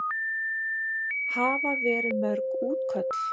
Hafa verið mörg útköll?